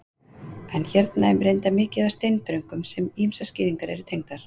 En hérna er reyndar mikið af steindröngum sem ýmsar skýringar eru tengdar.